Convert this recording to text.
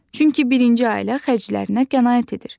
Çünki birinci ailə xərclərinə qənaət edir.